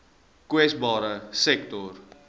kwesbare sektore